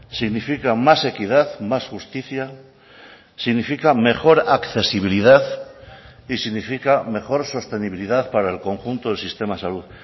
significa más equidad más justicia significa mejor accesibilidad y significa mejor sostenibilidad para el conjunto del sistema de salud